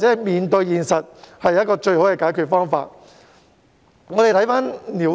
面對現實便是最佳解決方法。